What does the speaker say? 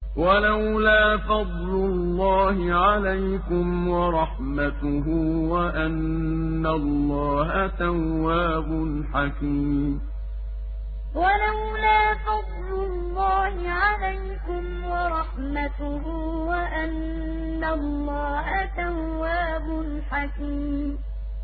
وَلَوْلَا فَضْلُ اللَّهِ عَلَيْكُمْ وَرَحْمَتُهُ وَأَنَّ اللَّهَ تَوَّابٌ حَكِيمٌ وَلَوْلَا فَضْلُ اللَّهِ عَلَيْكُمْ وَرَحْمَتُهُ وَأَنَّ اللَّهَ تَوَّابٌ حَكِيمٌ